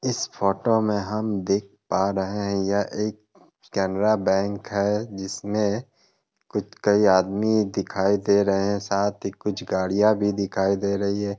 इस फोटो में हम देख पा रहे हैं यह एक केनरा बैंक है जिसमे कुछ कई आदमी दिखाई दे रहे हैं। साथ ही कुछ गाड़ियां भी दिखाई दे रही हैं।